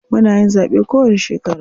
Muna yin zaɓe kowanni shekara.